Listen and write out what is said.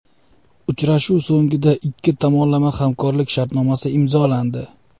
Uchrashuv so‘ngida ikki tomonlama hamkorlik sharnomasi imzolandi.